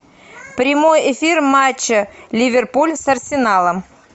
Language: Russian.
прямой эфир матча ливерпуль с арсеналом